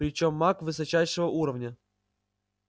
причём маг высочайшего уровня